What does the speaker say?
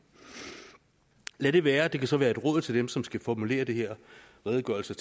lad det være men det kan så være et råd til dem som skal formulere de her redegørelser